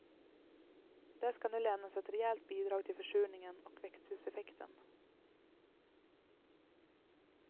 Där skall nu lämnas ett rejält bidrag till försurningen och växthuseffekten.